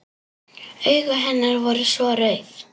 Augu hennar voru svo rauð.